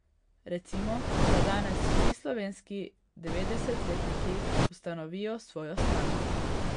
Recimo, da danes vsi slovenski devetdeset letniki ustanovijo svojo stranko.